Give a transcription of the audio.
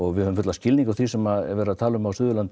við höfum fullan skilning á því sem er verið að tala um á Suðurlandi